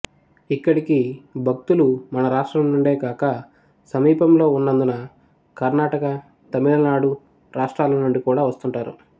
ఇక్కడికి భక్తులు మన రాష్ట్రం నుండే కాక సమీపంలో వున్నందున కర్ణాటక తమిళ నాడు రాష్ట్రాల నుండి కూడా వస్తుంటారు